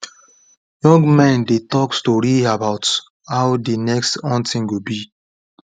young men dey talk story about how the next hunting go be